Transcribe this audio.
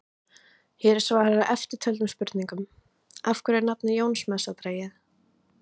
Hér er svarað eftirtöldum spurningum: Af hverju er nafnið Jónsmessa dregið?